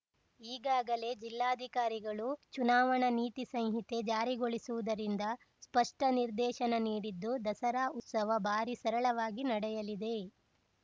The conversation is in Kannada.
ಈಗಾಗಲೇ ಜಿಲ್ಲಾಧಿಕಾರಿಗಳು ಚುನಾವಣಾ ನೀತಿ ಸಂಹಿತೆ ಜಾರಿಗೊಳಿಸಿರುವುದರಿಂದ ಸ್ಪಷ್ಟನಿರ್ದೇಶನ ನೀಡಿದ್ದು ದಸರಾ ಉತ್ಸವ ಬಾರಿ ಸರಳವಾಗಿ ನಡೆಯಲಿದೆ